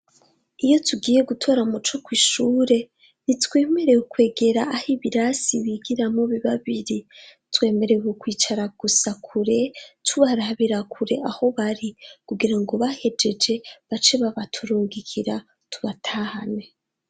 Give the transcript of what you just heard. Iyo tugiye gutora Muco ku ishure ntitwemerewe ukwegera aho ibirasi bigiramo bibabiri twemerewe kwicara gusa kure tubaraberakure aho bari kugira ngo bahejeje bace babaturungikira tubatahane.